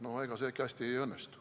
No ega see hästi ei õnnestu.